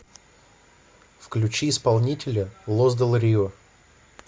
включи исполнителя лос дель рио